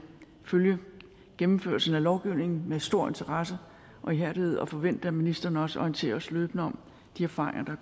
følge gennemførelsen af lovgivningen med stor interesse og ihærdighed og forventer at ministeren også orienterer os løbende om de erfaringer